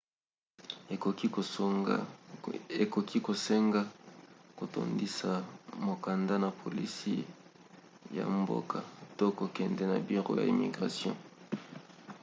ekoki kosenga kotondisa mokanda na polisi ya mboka to kokende na biro ya immigration